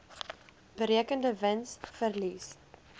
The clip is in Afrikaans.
berekende wins verlies